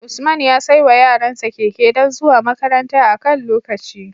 Usman ya saiwa yaran sa Keke don zuwa makaranta akan lokaci